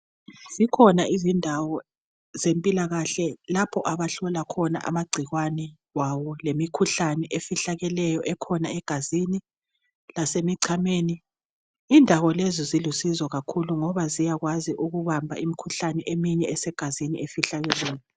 Zikhona izondawo zempilakahle lapho abahlola khona amagcikwane kwawo lemikhuhlane efihlakeleyo ekhona egazini lasemicameni indawo lezi zilusizo kakhulu ngoba ziyakwazi ukubamba imikhuhlane eminye esegazini efihlakeleyo.